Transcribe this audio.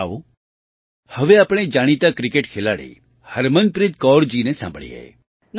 આવો હવે આપણે જાણીતાં ક્રિકેટ ખેલાડી હરમનપ્રીત કૌરજીને સાંભળીએ